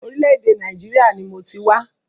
Orílẹ̀-èdè Nàìjíríà ni mọ ti wá.